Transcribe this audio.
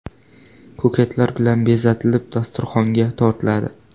Ko‘katlar bilan bezatilib, dasturxonga tortiladi.